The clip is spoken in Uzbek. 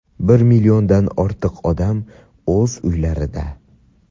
Bir milliondan ortiq odam o‘z uylarida.